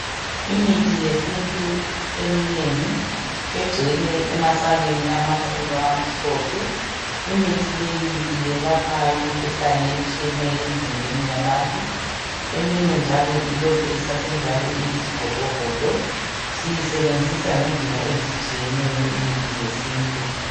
Imithi yesintu eminengi. Egcwele emasakeni, amakhulu, amhlophe. Imithi leyi yelapha imikhuhlane etshiyeneyo, emzimbeni yabantu. Eminye njalo ilokhu isasenjalo, iyizigodogodo. Siyisebenzisa ngendlela ezehlukeneyo, imithi yesintu.